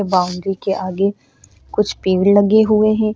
Boundary के आगे कुछ पेड़ लगे हुए है।